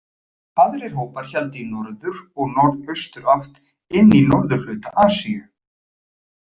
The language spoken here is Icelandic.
Aðrir hópar héldu í norður- og norðausturátt inn í norðurhluta Asíu.